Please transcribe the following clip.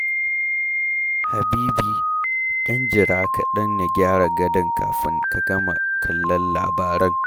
Habibi, ɗan jira kaɗan na gyara gadon kafin ka gama kallon labaran.